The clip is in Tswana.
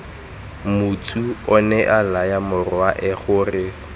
motsu onea laya morwae gore